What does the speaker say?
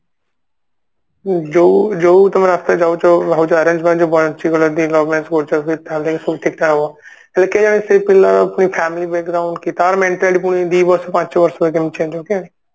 ଯୋଉ ଯୋଉ ତମେ ରାସ୍ତାରେ ଯାଉଛ ହଉ ଯୋଉ arrange marriage ରୁ ବଞ୍ଚିଗଲ love marriage କରୁଛ ସେ family ସବୁ ଠିକ ଠାକ ହବ ହେଲେ କେଜାଣି ସେଇ ପିଲା family ପୁଣି family background କି ତାର mentality ପୁଣି ଦିବର୍ଷ କି ପାଞ୍ଚ ବର୍ଷ ପରେ change ହବ okay